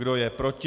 Kdo je proti?